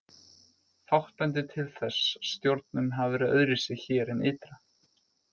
Fátt bendir til þess að stjórnun hafi verið öðruvísi hér en ytra.